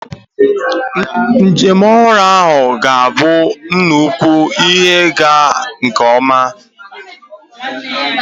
Njem ọhụrụ ahụ ga-abụ nnukwu ihe ịga nke ọma.